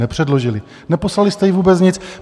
Nepředložili, neposlali jste jí vůbec nic.